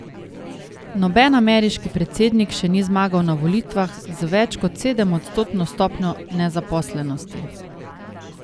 Noben ameriški predsednik še ni zmagal na volitvah z več kot sedemodstotno stopnjo nezaposlenosti.